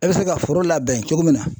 E bɛ se ka foro labɛn cogo min na